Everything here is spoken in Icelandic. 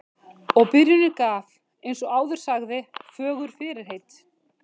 Og byrjunin gaf, eins og áður sagði, fögur fyrirheit.